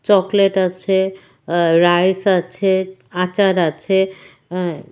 Chocolate আছে আ rice আছে আচার আছে অ্যা।